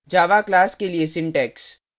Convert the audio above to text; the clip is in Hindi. java class के लिए syntax